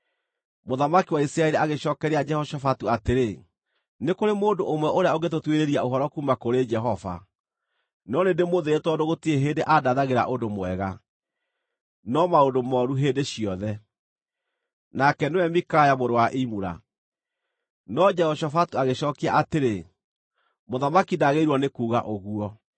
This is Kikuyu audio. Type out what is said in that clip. Mũthamaki wa Isiraeli agĩcookeria Jehoshafatu atĩrĩ, “Nĩ kũrĩ mũndũ ũmwe ũrĩa ũngĩtũtuĩrĩria ũhoro kuuma kũrĩ Jehova, no nĩndĩmũthũire tondũ gũtirĩ hĩndĩ andathagĩra ũndũ mwega, no maũndũ mooru hĩndĩ ciothe. Nake nĩwe Mikaya mũrũ wa Imula.” No Jehoshafatu agĩcookia atĩrĩ, “Mũthamaki ndagĩrĩirwo nĩ kuuga ũguo.”